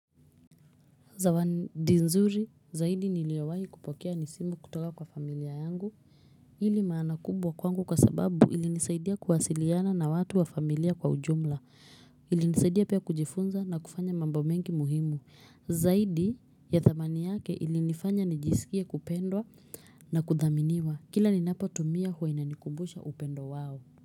Zawadi nzuri zaidi niliyowahi kupokea nisimu kutoka kwa familia yangu ili maana kubwa kwangu kwa sababu ili nisaidia kuwasiliana na watu wa familia kwa ujumla ilinisaidia pia kujifunza na kufanya mambo mengi muhimu zaidi ya thamani yake ilinifanya nijisikie kupendwa na kuthaminiwa kila ninapotumia huwa inanikubusha upendo wao.